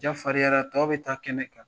Jaa farinyara tɔw bɛ taa kɛnɛ kan